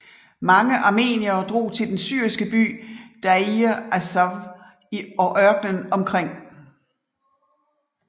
Mange armeniere drog til den syriske by Dayr az Zawr og ørkenen omkring